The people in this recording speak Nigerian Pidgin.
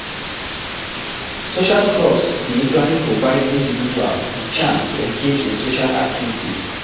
Social clubs dey usually provide individuals di chance to engage in social activities